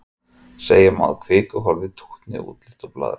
Segja má að kvikuhólfið tútni út líkt og blaðra.